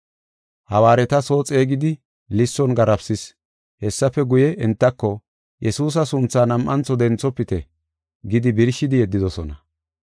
Hawaareta soo xeegidi lisson garaafisis. Hessafe guye, entako, “Yesuusa suntha nam7antho denthofite” gidi birshidi yeddidosona.